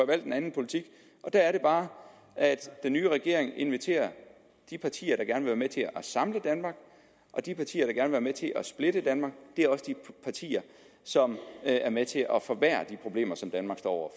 valgt en anden politik og der er det bare at den nye regering inviterer de partier der gerne vil være med til at samle danmark de partier der vil være med til at splitte danmark er også de partier som er med til at forværre de problemer som danmark står